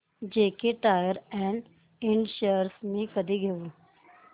JK tyre and इंड shares मी कधी घेऊ